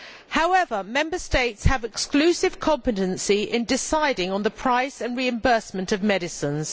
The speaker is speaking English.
However, Member States have exclusive competence in deciding on the pricing and reimbursement of medicines.